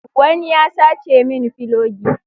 Wani ya sace min filogi